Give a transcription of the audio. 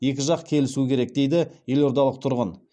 екі жақ келісу керек дейді елордалық тұрғын